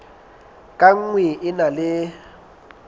ka nngwe e na le